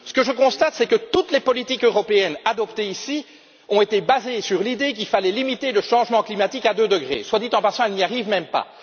Ce que je constate, c'est que toutes les politiques européennes adoptées ici ont été basées sur l'idée qu'il fallait limiter le changement climatique à deux degrés soit dit en passant, elles n'y arrivent même